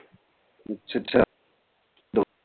ਅੱਛਾ ਅੱਛਾ